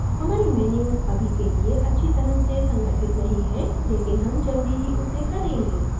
हमारे menus अभी के लिए अच्छी तरह से संगठित नहीं हैं लेकिन हम जल्दी ही उसे करेंगे